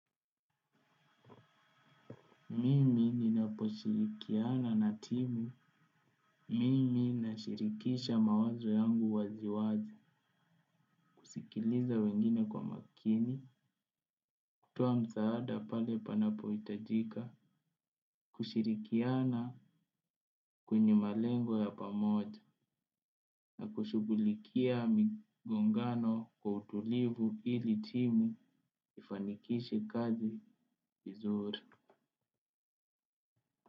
Mimi ninaposhirikiana na timu, mimi nashirikisha mawazo yangu waziwazi, kusikiliza wengine kwa makini, kutoa msaada pale panapo itajika, kushirikiana kwenye malengo ya pamoja. Na kushughulikia migongano kwa utulivu ili timu ifanikishe kazi izuri.